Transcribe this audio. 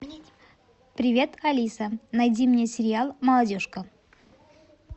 привет алиса найди мне сериал молодежка